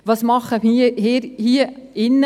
– Was tun wir alle hier drinnen?